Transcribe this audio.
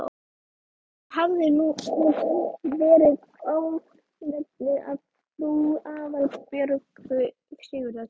En honum hafði hún verið ánöfnuð af frú Aðalbjörgu Sigurðardóttur.